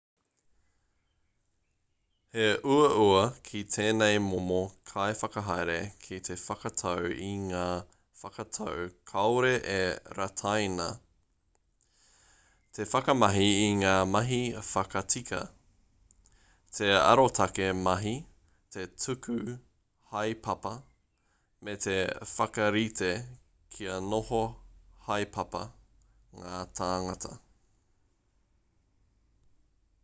he uaua ki tēnei momo kaiwhakahaere te whakatau i ngā whakatau kāore e rataina te whakamahi i ngā mahi whakatika te arotake mahi te tuku haepapa me te whakarite kia noho haepapa ngā tāngata